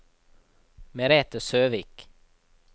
Merete Søvik